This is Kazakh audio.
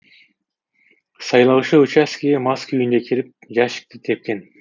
сайлаушы учаскеге мас күйінде келіп жәшікті тепкен